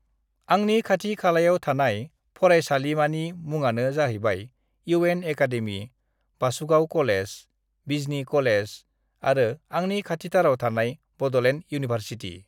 आंनि खाथि खालायाव थानाय फरायसालिमानि मुङानो जाहैबाय इउ एन एकादेमी(UN Academy), बासुगाव कलेज(college), बिजनि कलेज(college) आरो आंनि खाथिथाराव थानाय बड'लेण्ड इउनिभारसि़टि(university)